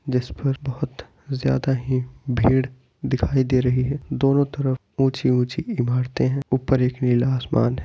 जिस पर बहुत ज्यादा ही भीड़ दिखाई दे रही है दोनों तरफ ऊँची-ऊँची इमारते है ऊपर एक नीला आसमान है।